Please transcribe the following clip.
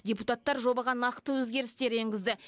депутаттар жобаға нақты өзгерістер енгізді